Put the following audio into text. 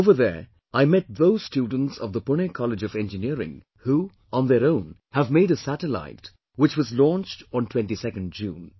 Over there I met those students of the Pune College of Engineering, who on their own have made a satellite, which was launched on 22nd June